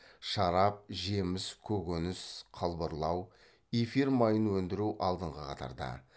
шарап жеміс көкөніс қалбырлау эфир майын өндіру алдыңғы қатарда